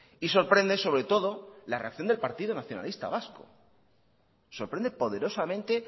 y sorprende sobre todo la reacción del partido nacionalista vasco sorprende poderosamente